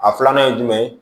A filanan ye jumɛn ye